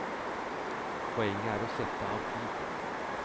Poenget er å sette av tid.